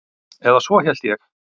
Eða svo hélt ég.